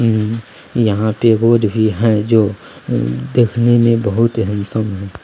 उम यहाँ पे रोड भी है जो उम देखने में बहुत ही हैंडसम है।